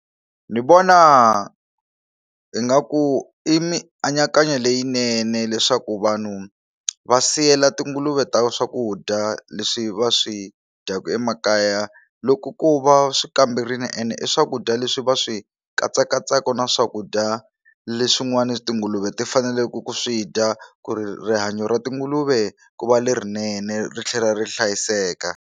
Ndzi vona ingaku i mianakanyo leyinene leswaku vanhu va siyela tinguluve ta swakudya leswi va swi dyaku emakaya loko ku va swi kamberini ene i swakudya leswi va swi katsakatsaka na swakudya leswin'wana tinguluve ti faneleke ku swi dya ku ri rihanyo ra tinguluve ku va lerinene ri tlhela ri hlayiseka.